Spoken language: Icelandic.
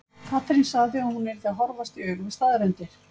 Katrín sagði að hún yrði að horfast í augu við staðreyndir.